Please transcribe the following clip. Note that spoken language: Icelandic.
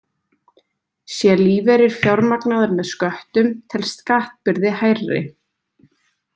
Sé lífeyrir fjármagnaður með sköttum telst skattbyrði hærri.